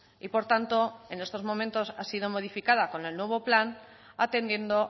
y por tanto en estos momentos ha sido modificada con el nuevo plan atendiendo